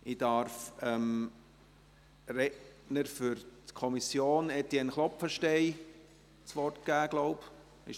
Ich darf dem Redner der Kommission, Etienne Klopfenstein, das Wort erteilen, so glaube ich.